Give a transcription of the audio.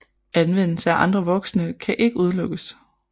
Anvendelse af andre vokse kan ikke udelukkes